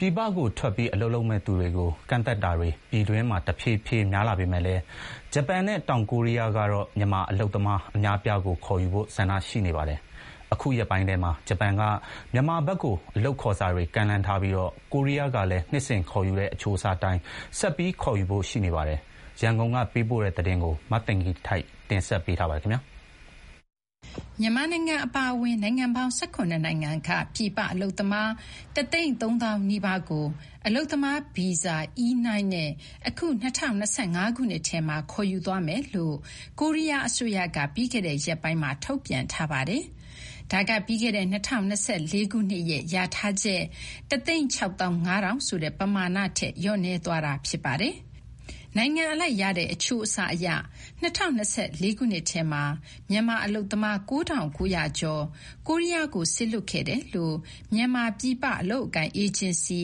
ပြည်ပကိုထွက်ပြီး အလုပ်လုပ်မယ့်သူတွေကို ကန့်သတ်တာတွေ ပြည်တွင်းမှာ တဖြည်းဖြည်း များလာပေမဲ့လည်း ဂျပန်နဲ့ တောင်ကိုရီးယားကတော့ မြန်မာအလုပ်သမား အများအပြားကို ခေါ်ယူဖို့ ဆန္ဒရှိနေပါတယ်။ အခုရက်ပိုင်းထဲမှာ ဂျပန်က မြန်မာဘက်ကို အလုပ်ခေါ်စာတွေ ကမ်းလှမ်းထားပြီး ကိုရီးယားကလည်း နှစ်စဉ်ခေါ်ယူတဲ့ အချိုးအစားအတိုင်း ဆက်ပြီး ခေါ်ယူဖို့ ရှိနေပါတယ်။ ရန်ကုန်ကနေ သတင်းပေးပို့ထားပါတယ်။ မြန်မာအပါအဝင် နိုင်ငံပေါင်း ၁၇ နိုင်ငံက ပြည်ပအလုပ်သမား ၁၃၀,၀၀၀ နီးပါးကို အလုပ်သမား ဗီဇာ နဲ့ အခု ၂၀၂၅ ထဲမှာ ခေါ်ယူသွားမယ်လို့ ကိုရီးယားအစိုးရက ပြီးခဲ့တဲ့ရက်ပိုင်းမှာ ထုတ်ပြန်ထားပါတယ်။ ဒါက ပြီးခဲ့တဲ့ ၂၀၂၄ ခုနှစ်ရဲ့ လျာထားချက် ၁၆၅,၀၀၀ ဆိုတဲ့ပမာဏထက် လျော့နည်းသွားတာ ဖြစ်ပါတယ်။ နိုင်ငံအလိုက်ရတဲ့ အချိုးအစားအရ ၂၀၂၄ ထဲမှာ မြန်မာအလုပ်သမား ၉,၉၀၀ ကျော်ကို ကိုရီးယားကို စေလွှတ်ခဲ့တယ်လို့ မြန်မာ ပြည်ပအလုပ်အကိုင် အေဂျင်စီ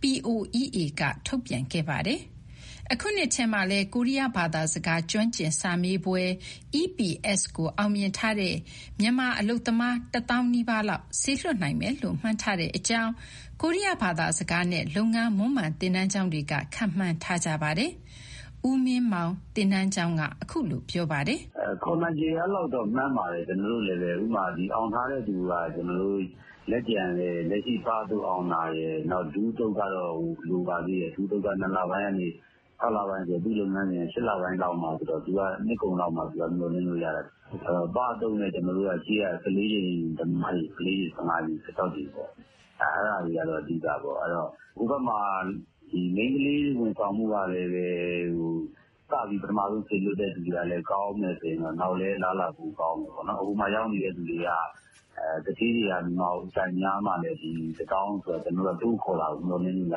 POEA က ထုတ်ပြန်ခဲ့ပါတယ်။ အခုနှစ်ထဲမှာလည်း ကိုရီးယားဘာသာစကား ကျွမ်းကျင်စာမေးပွဲ ကို အောင်မြင်ထားတဲ့ မြန်မာအလုပ်သမား ၁၀,၀၀၀ နီးပါးလောက် စေလွှတ်နိုင်မယ်လို့ မှန်းထားကြောင်း ကိုရီးယား ဘာသာစကားနဲ့ လုပ်ငန်းမွမ်းမံ သင်တန်းကျောင်းတွေက ခန့်မှန်းထားကြပါတယ်။ ဦးမင်းမောင် သင်တန်းကျောင်းက အခုလိုပြောပါတယ်။ "ခေါ်နိုင်ခြေ အဲလောက်တော့ မှန်းပါတယ် ကျနော်တို့လည်းပဲ။ အောင်ထားတဲ့သူက လက်ကျန်လည်း လက်ရှိ ပအသုတ်အောင်တာရယ် နောက် ဒုအသုတ်ကတော့ လိုပါသေးတယ်၊ ၂လပိုင်းကနေ ခြောက်လပိုင်းဆိုတော့ သူ့လုပ်ငန်းစဉ်က ၈ လပိုင်းမှဆိုတော့ နှစ်ကုန်လောက်မှ မျှော်လင့်လို့ရမှာ။ အဲဒီတော့ ပအသုတ်နဲ့ ရှေ့က ၁၄ ကြိမ်သမားတွေ၊ ၁၅ ကြိမ်၊ ၁၆ ကြိမ် အဲဒါတွေကတော့ အဓိကပေါ့။ အဲဒီတော့ ဟိုဘက်မှာ မိန်းကလေး ဝန်ဆောင်မှုကလည်း စပြီး ပထမဦးဆုံး စေလွှတ်တဲ့သူတွေကလည်း ကောင်းမယ်ဆိုရင် နောက်လည်း အလားအလာ ပိုကောင်းမယ်ပေါ့။ ဟိုမှာရောက်နေတဲ့သူက သူဌေးတွေက မြန်မာကို အကြိုက်များမှလည်း ဒီ ၁၀,၀၀၀ ဆိုတာ တိုးခေါ်တာကို မျှော်လင့်လို့ရ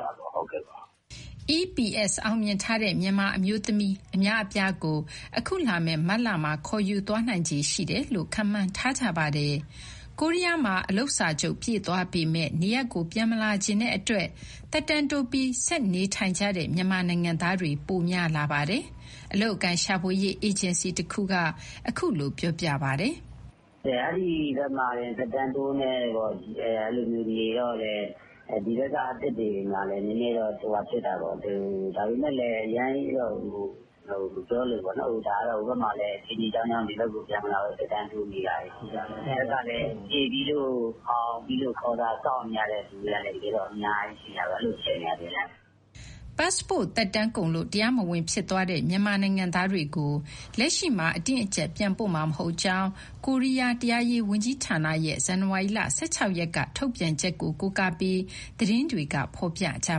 မှာ။" EPS အောင်မြင်ထားတဲ့ မြန်မာအမျိုးသမီး အများအပြားကို အခုလာမယ့် မတ်လမှာ ခေါ်ယူသွားနိုင်ခြေ ရှိတယ်လို့ ခန့်မှန်းထားကြပါတယ်။ ကိုရီးယားမှာ အလုပ်စာချုပ် ပြည့်သွားပေမယ့် နေရပ်ကို ပြန်မလာချင်တဲ့အတွက် သက်တမ်းတိုးပြီး ဆက်နေထိုင်ကြတဲ့ မြန်မာနိုင်ငံသားတွေ ပိုများလာပါတယ်။ အလုပ်အကိုင်ရှာဖွေရေး အေဂျင်စီတခုက အခုလိုပြောပါတယ်။ "အဲဒီဘက်မှာ သက်တမ်းတိုးနဲ့ နေတော့လည်း ဒီဘက်က အသစ်တွေမှာလည်း နည်းနည်းတော့ ဟိုဟာဖြစ်တာပေါ့။ ဒါပေမဲ့ အရမ်းကြီးတော့ မပြောလိုဘူးပေါ့နော်။ ဒါကတော့ ဟိုဘက်မှာလည်း အခြေအနေ အကြောင်းကြောင်းကြောင့် ဒီဘက်ပြန်မလာဘဲ သက်တမ်းတိုးနေတာတွေ ရှိတာပေါ့။ ဒီဘက်ကလည်း ဖြေပြီးလို့ အောင်ပြီးလို့ ခေါ်စာစောင့်နေရတဲ့ သူတွေကလည်း အများကြီးဖြစ်နေတာ အခြေအနေက။" ပတ်စ်ပို့သက်တမ်းကုန်လို့ တရားမဝင်ဖြစ်သွားတဲ့ မြန်မာနိုင်ငံသားတွေကို လက်ရှိမှာ အတင်း အကျပ် ပြန်ပို့မှာမဟုတ်ကြောင်း ကိုရီးယား တရားရေးဝန်ကြီးဌာနရဲ့ ဇန်နဝါရီလ ၁၆ရက်က ထုတ်ပြန်ချက်ကို ကိုးကားပြီး သတင်းတွေက ဖော်ပြခဲ့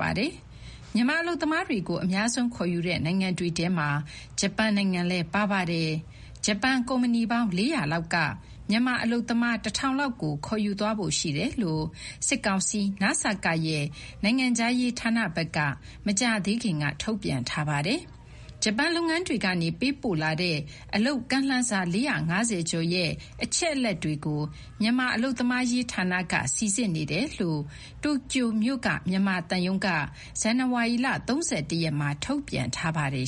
ပါတယ်။ မြန်မာအလုပ်သမားတွေကို အများဆုံးခေါ်ယူတဲ့ နိုင်ငံတွေထဲမှာ ဂျပန်နိုင်ငံလည်း ပါပါတယ်။ ဂျပန်ကုမ္ပဏီပေါင်း ၄၀၀ လောက်ကလည်း မြန်မာအလုပ်သမား ၁,၁၀၀ လောက်ကို ခေါ်ယူသွားဖို့ ရှိတယ်လို့ စစ်ကောင်စီ နစကရဲ့ နိုင်ငံခြားရေးဌာနဘက်က မကြာသေးခင်က ထုတ်ပြန်ထားပါတယ်။ ဂျပန်လုပ်ငန်းတွေကနေ ပေးပို့လာတဲ့ အလုပ်ကမ်းလှမ်းစာ ၄၅၀ ကျော်ရဲ့ အချက်အလက်တွေကို မြန်မာ အလုပ်သမားရေးဌာနက စိစစ်နေတယ်လို့ တိုကျိုမြို့ မြန်မာသံရုံးက ဇန်နဝါရီလ ၃၁ ရက်မှာ ထုတ်ပြန်ထားပါတယ်